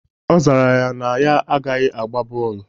Ọ zara ya na ya agaghị agba bọọlụ.